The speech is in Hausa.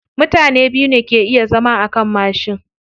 Mutane biyu ne ke iya zama akan mashi.